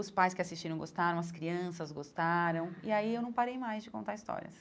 Os pais que assistiram gostaram, as crianças gostaram, e aí eu não parei mais de contar histórias.